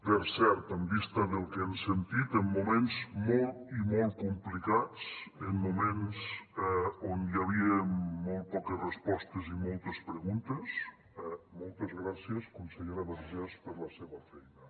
per cert en vista del que hem sentit en moments molt i molt complicats en moments on hi havia molt poques respostes i moltes preguntes moltes gràcies consellera vergés per la seva feina